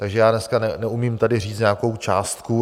Takže já dneska neumím tady říct nějakou částku.